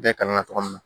Bɛɛ kangari ma